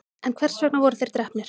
en hvers vegna voru þeir drepnir